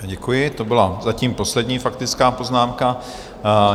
Děkuji, to byla zatím poslední faktická poznámka.